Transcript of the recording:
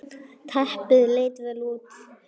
Teppið leit vel út.